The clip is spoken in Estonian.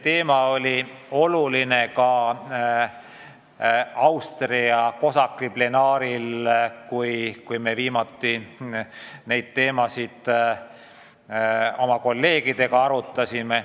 Ka oli see oluline Austrias COSAC-i plenaaristungil, kus me viimati neid teemasid oma kolleegidega arutasime.